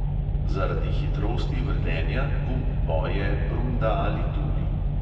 Zaradi hitrosti vrtenja gumb poje, brunda ali tuli.